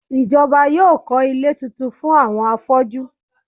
Ìjọba yóò kọ́ ilé tuntun fún àwọn afọ́jú.